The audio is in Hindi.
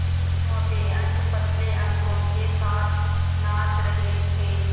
मोटे अंक पतले अंकों के साथ नाच रहे थे